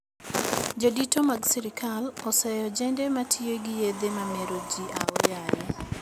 Jodito mag sirkal oseyo ojede matiyo gi yedhe mameroji aoyaye